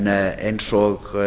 en eins og